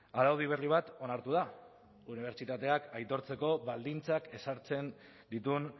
araudi berri bat onartu da unibertsitateak aitortzeko baldintzak ezartzen dituen